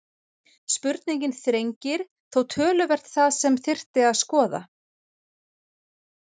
Spurningin þrengir þó töluvert það sem þyrfti að skoða.